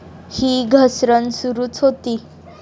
ही घसरण सुरूच होती.